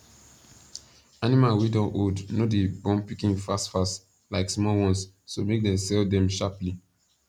animal wa don old no da born pikin fastfast like small ones so make they sell them sharply